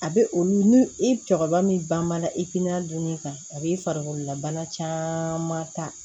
A bɛ olu i cɛkɔrɔba min banbana ifina duuru kan a b'i farikololabana caaman ta